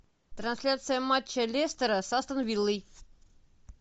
трансляция матча лестера с астон виллой